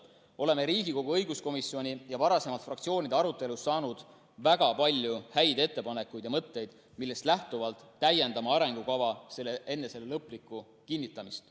Oleme arutelust Riigikogu õiguskomisjoniga ja varasemalt fraktsioonidega saanud väga palju häid ettepanekuid ja mõtteid, millest lähtuvalt täiendame arengukava enne selle lõplikku kinnitamist.